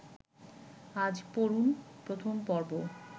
আজ পড়ুন প্রথম পর্ব